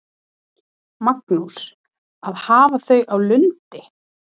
Magnús: Að hafa þau á Lundi?